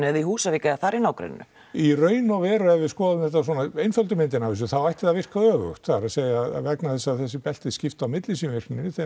eða á Húsavík eða þar í nágreninu í raun og veru ef við skoðum þetta svona einföldu myndina af þessu þá ætti það að virka öfugt það er að segja vegna þess að þessi belti skipta á milli sín virkninni